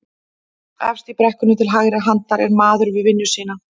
Efst í brekkunni til hægri handar er maður við vinnu sína